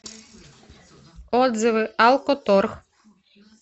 отзывы алко торг